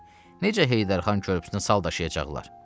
Necə Heydər Xan körpüsünə sal daşıyacaqlar?